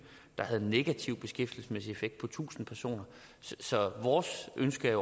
der havde en negativ beskæftigelsesmæssig effekt på tusind personer så vores ønske